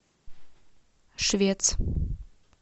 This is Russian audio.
швец